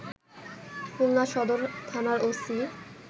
খুলনা সদর থানার ওসি